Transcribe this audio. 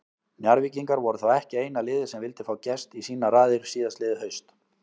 Njarðvíkingar voru þó ekki eina liðið sem vildi fá Gest í sínar raðir síðastliðið haust.